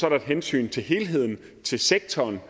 er et hensyn til helheden til sektoren